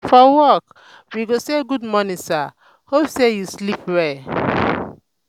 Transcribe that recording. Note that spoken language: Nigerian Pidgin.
for work we go say gud morning sir hope say yu sleep well?